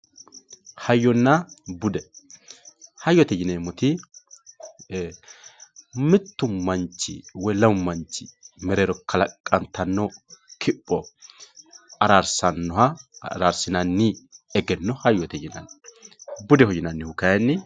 hayyonna bude hayyote yineemmoti mittu manchi woy lamu manchi mereero kalaqantanno kipho araarsinanni egenno hayyote yinanni budeho yinannihu kayiini...